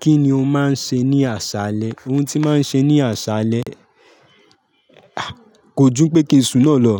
Kí ni ó máa ń ṣe ní àsálẹ? Oun tí máa ń ṣe ní àsálẹ, a, kò jú pé kí n sun náà lọ.